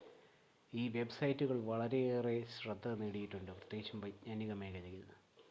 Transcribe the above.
ഈ വെബ്‌സൈറ്റുകൾ വളരെയേറെ ശ്രദ്ധ നേടിയിട്ടുണ്ട് പ്രത്യേകിച്ചും വൈജ്ഞാനിക മേഖലയിൽ